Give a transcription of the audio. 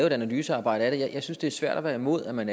et analysearbejde af det jeg synes det er svært at være imod at man